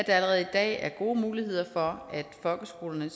allerede i dag er gode muligheder for at folkeskolerne